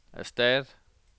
erstat